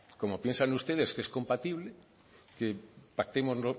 como piensan ustedes que es compatible que pactemos